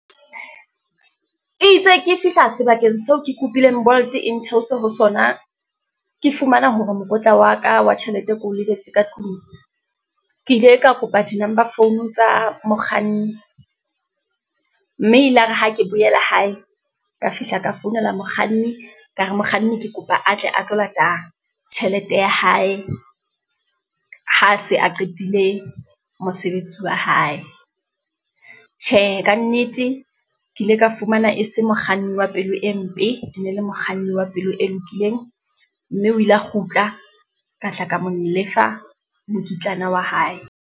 E itse ke fihla sebakeng seo ke kopile Bolt e ntheose ho sona. Ke fumana hore mokotla wa ka wa tjhelete ke o lebetse ka tlung, ke ile ka kopa di-number phone tsa mokganni, mme ilare ha ke boela hae, ka fihla ka founela mokganni, ka re mokganni ke kopa a tle a tlo lata tjhelete ya hae, ha se a qetile mosebetsi wa hae. Tjhe, kannete ke ile ka fumana e se mokganni wa pelo e mpe, e ne le mokganni wa pelo e lokileng, mme o ile a kgutla, ka tla ka molefa mokitlana wa hae.